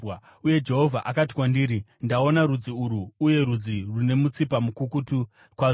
Uye Jehovha akati kwandiri, “Ndaona rudzi urwu, uye rudzi rune mutsipa mukukutu kwazvo!